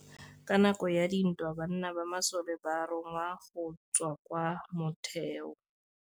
Ka nakô ya dintwa banna ba masole ba rongwa go tswa kwa mothêô.